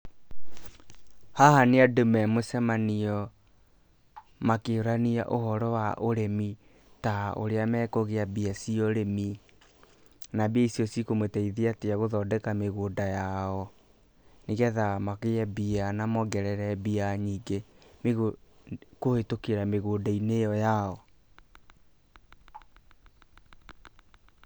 Haha nĩ andũ me mũcemanio makĩũrania ũhoro wa ũrĩmi ta ũrĩa mekũgĩa mbia cia ũrĩmi, na mbia icio cikũmateithia atĩa gũthondeka mĩgũnda yao, nĩgetha magĩe mbia na mongerere mbia nyingĩ kũhĩtũkĩra mĩgũnda-inĩ ĩo yao.